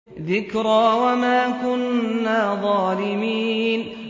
ذِكْرَىٰ وَمَا كُنَّا ظَالِمِينَ